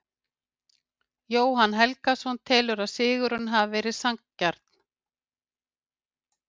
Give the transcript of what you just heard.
Jóhann Helgason telur að sigurinn hafi verið sanngjarn.